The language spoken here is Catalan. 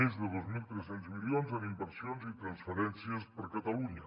més de dos mil tres cents milions en inversions i transferències per a catalunya